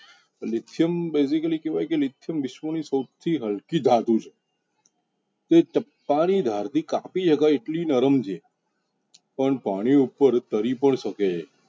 Lithium basically કેવાય કે lithium વિશ્વ નિ સૌથી હલકી ધાતુ છે. એ ચપ્પા નિ ધાર થિ કાપિ શક એટલી નરમ છે પણ પાણી પર તરી પણ શકે છે.